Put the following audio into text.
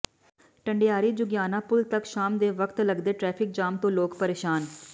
ਢੰਡਾਰੀ ਜੁਗਿਆਣਾ ਪੁਲ ਤੱਕ ਸ਼ਾਮ ਦੇ ਵਕਤ ਲਗਦੇ ਟਰੈਫਿਕ ਜਾਮ ਤੋਂ ਲੋਕ ਪ੍ਰੇਸ਼ਾਨ